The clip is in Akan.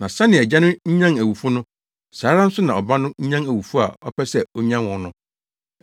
Na sɛnea Agya no nyan awufo no, saa ara nso na Ɔba no nyan awufo a ɔpɛ sɛ onyan wɔn no.